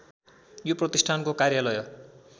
यो प्रतिष्ठानको कार्यालय